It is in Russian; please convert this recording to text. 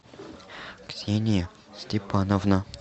ксения степановна